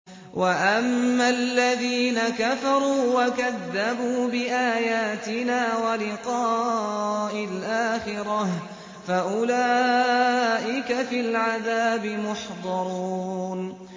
وَأَمَّا الَّذِينَ كَفَرُوا وَكَذَّبُوا بِآيَاتِنَا وَلِقَاءِ الْآخِرَةِ فَأُولَٰئِكَ فِي الْعَذَابِ مُحْضَرُونَ